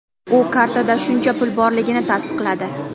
U kartada shuncha pul borligini tasdiqladi.